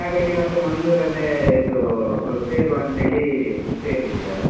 ಹಾಗಾಗಿ ಮತ್ತೆ ಮಂಗಳೂರಲ್ಲೇ ಇದ್ದು ಸೇರುವ ಅಂತೇಳಿ ಸೇರಿದ್ದು ಇವಾಗ.